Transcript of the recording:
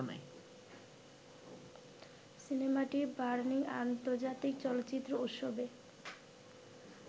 সিনেমাটি বার্লিন আন্তজার্তিক চলচ্চিত্র উৎসবে